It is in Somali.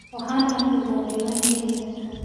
Waxaan xafidaa diiwaankayga.